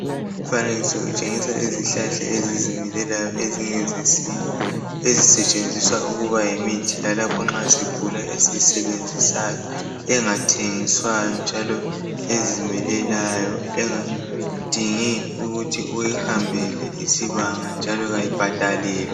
Umfanekiso utshengisa izihlahla ezizimilelayo ezingezesintu ,ezisetshenziswa ukuba yimithi yalapho nxa sigula esiyisebenzisayo, engathengiswayo njalo ezimilelayo engadingi ukuthi uhambele isibanga njalo kayibhadalelwa.